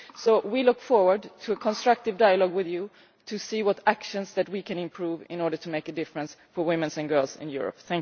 So we look forward to a constructive dialogue with you to see what actions we can improve in order to make a difference for women and girls in Europe.